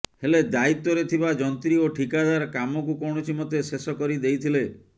ହେଲେ ଦାୟିତ୍ୱରେ ଥିବା ଯନ୍ତ୍ରୀ ଓ ଠିକାଦାର କାମକୁ କୌଣସି ମତେ ଶେଷ କରିଦେଇଥିଲେ